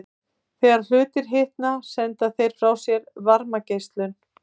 Þegar hlutir hitna senda þeir frá sér varmageislun.